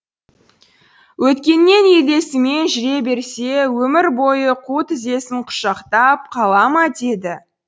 өткеннен елесімен жүре берсе өмір бойы қу тізесін құшақтап қалама деді